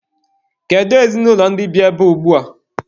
Kedu ezinụlọ ndị bi ebea ugbua?